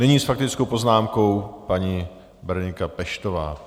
Nyní s faktickou poznámkou paní Berenika Peštová.